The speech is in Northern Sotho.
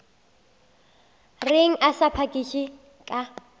reng a sa phakiše ka